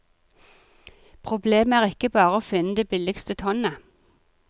Problemet er ikke bare å finne det billigste tonnet.